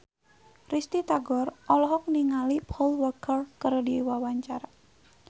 Risty Tagor olohok ningali Paul Walker keur diwawancara